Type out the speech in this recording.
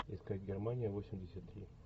искать германия восемьдесят три